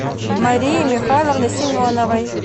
марии михайловны семеновой